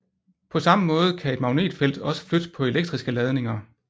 På samme måde kan et magnetfelt også flytte på elektriske ladninger